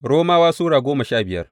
Romawa Sura goma sha biyar